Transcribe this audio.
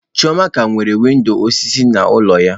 Chioma ka nwere windọ osisi n'ụlọ ya.